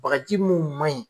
Bagaji mun maɲi